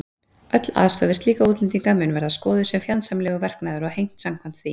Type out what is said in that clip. Öll aðstoð við slíka útlendinga mun verða skoðuð sem fjandsamlegur verknaður og hegnt samkvæmt því.